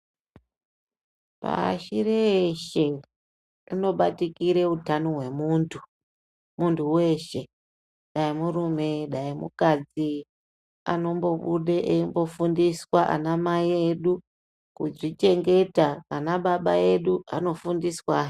Pashi reshe hunobatikira hutano hwemuntu muntu weshe dai murume dai mukadzi anombobuda eifundiswa ana mai edu kuzvichengeta ana baba edu anofundiswa he.